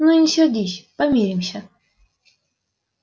ну не сердись помиримся